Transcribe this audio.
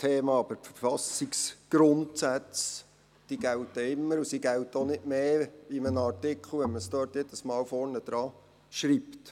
Die Verfassungsgrundsätze gelten immer, und sie gelten in einem Artikel auch nicht mehr, wenn man sie dort jedes Mal vorne hinschreibt.